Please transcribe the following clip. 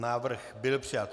Návrh byl přijat.